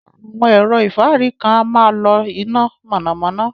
Awọn ẹ̀rọ̀ ifárí kan à màá ń lọ iná mọ̣namọ̣na.